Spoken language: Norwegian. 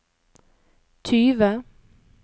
tyve